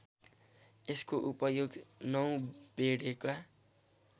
यसको उपयोग नौबेडेका